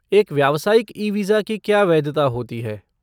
एक व्यवसायिक e visa की क्या वैधता होती है?